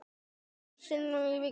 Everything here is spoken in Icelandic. Svo fimm sinnum í viku.